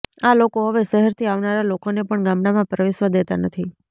આ લોકો હવે શહેરથી આવનારા લોકોને પણ ગામડામાં પ્રવેશવા દેતા નથી